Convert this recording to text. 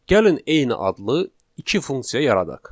Gəlin eyni adlı iki funksiya yaradaq.